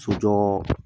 Sojɔ